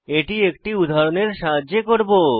এটি একটি উদাহরণের সাহায্যে করব